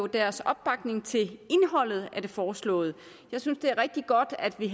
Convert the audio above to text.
deres opbakning til indholdet af det foreslåede jeg synes det er rigtig godt at vi